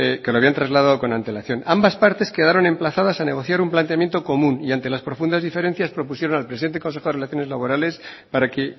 que lo habían trasladado con antelación ambas partes quedaron emplazadas a negociar un planteamiento común y ante las profundas diferencias propusieron al presidente del consejo de relaciones laborales para que